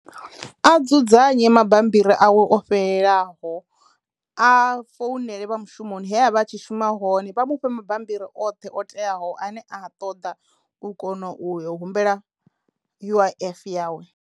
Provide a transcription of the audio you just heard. A dzudzanye mabammbiri awe o fhelelaho a founela vha mushumoni hehavha a tshi shuma hone vha mufhe mabammbiri oṱhe o teaho ane a ṱoḓa u kono u yo humbela U_I_F yawe.